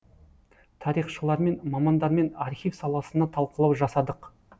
тарихшылармен мамандармен архив саласына талқылау жасадық